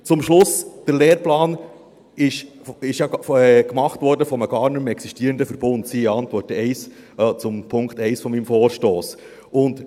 Zum Schluss: Der Lehrplan wurde ja von einem gar nicht mehr existierenden Verbund gemacht, siehe Antwort zu Punkt 1 meines Vorstosses.